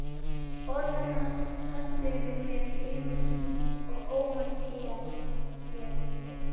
Orð hennar féllu yfir mig einsog óvænt él.